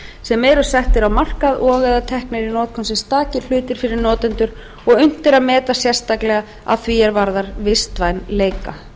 stakir hlutir fyrir notendur og unnt er að meta sérstaklega að því er varðar vistvænleika